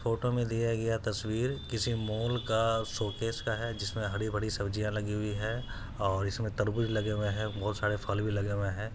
Photo मे दिया गया तस्वीर किसी मोल का शूटकेस का है जिसमे हरे भरे सब्जी लगी हुई है और इसमे तरबूच लगे हुए है बोहोत सारे फल भी लगे हुए है।